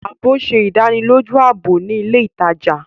Ààbò ṣe ìdánilójú ààbò ni ilè ìtàjà.